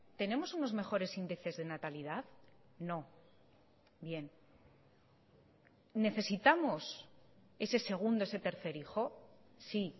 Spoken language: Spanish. tenemos unos mejores índices de natalidad no bien necesitamos ese segundo ese tercer hijo sí